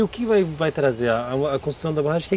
E o que vai vai trazer a construção da barragem?